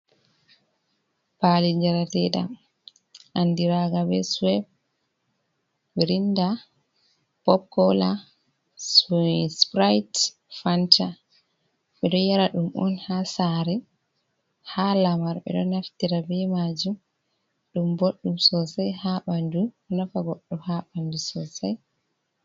Paali jarateeɗam, anndiraaga be suweps, mirinda, pop koola, supurayit fanta. Ɓe ɗo yara ɗum on, haa saare, haa lamar. Ɓe ɗo naftira be maajum, ɗum boɗɗum soosay haa ɓanndu, ɗo nafa goɗɗo haa ɓanndu soosay.